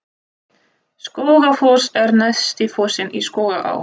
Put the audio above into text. Skógafoss er neðsti fossinn í Skógaá.